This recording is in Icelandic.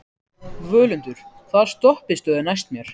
Völundur, hvaða stoppistöð er næst mér?